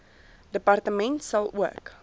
departement sal ook